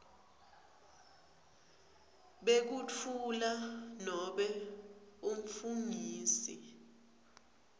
bekutfula nobe umfungisi